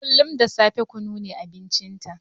Kullun da safe kunu ne abincinta.